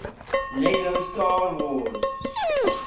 lego star wars